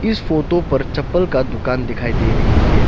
इस फोटो पर चप्पल का दुकान दिखाई दे रही है।